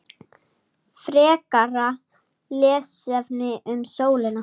Frekara lesefni um sólina